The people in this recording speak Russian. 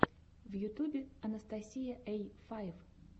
в ютубе анастасия эй файв